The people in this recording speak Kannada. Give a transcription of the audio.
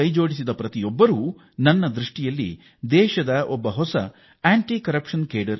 ನನ್ನ ಪ್ರಕಾರ ಈ ಅಭಿಯಾನದಲ್ಲಿ ಭಾಗಿಯಾಗಿರುವ ಎಲ್ಲ ವ್ಯಕ್ತಿಗಳೂ ದೇಶದಲ್ಲಿ ಹೊಸ ಭ್ರಷ್ಟಾಚಾರ ವಿರೋಧಿ ಪಡೆ ರಚಿಸಿದ್ದಾರೆ